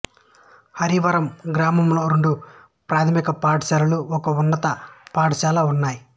హరివరం గ్రామంలో రెండు ప్రాథమికపాఠశాలలు ఒక్క ఉన్నత పాఠశాల ఉన్నాయి